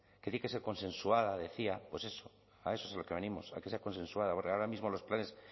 que tiene que ser consensuada decía pues eso a eso es a lo que venimos a que sea consensuada porque ahora mismo los planes